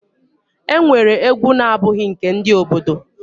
E nwere egwu na abụghị nke ndị obodo.